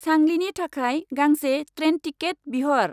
सांलिनि थाखाय गांसे train ticket बिहर।